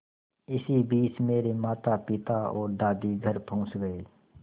इसी बीच मेरे मातापिता और दादी घर पहुँच गए